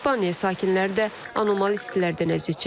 İspaniya sakinləri də anormal istilərdən əziyyət çəkir.